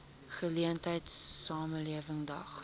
geleentheid samelewing daag